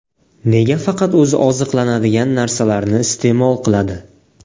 Nega faqat o‘zi oziqlanadigan narsalarni iste’mol qiladi?